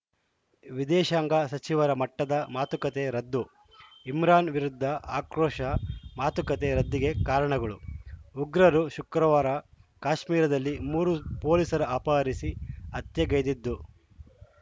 ವಿದೇಶಾಂಗ ಸಚಿವರ ಮಟ್ಟದ ಮಾತುಕತೆ ರದ್ದು ಇಮ್ರಾನ್‌ ವಿರುದ್ಧ ಆಕ್ರೋಶ ಮಾತುಕತೆ ರದ್ದಿಗೆ ಕಾರಣಗಳು ಉಗ್ರರು ಶುಕ್ರವಾರ ಕಾಶ್ಮೀರದಲ್ಲಿ ಮೂರು ಪೊಲೀಸರ ಅಪಹರಿಸಿ ಹತ್ಯೆಗೈದಿದ್ದು